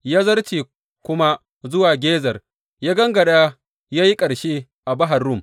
Ya zarce kuma zuwa Gezer, ya gangara ya yi ƙarshe a Bahar Rum.